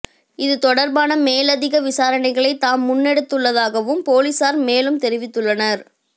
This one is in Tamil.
இது தொடர்பான மேலதிக விசாரணைகளை தாம் முன்னெடுத்துள்ளதாகவும் பொலிஸார் மேலும் தெரிவித்துள்ளனர்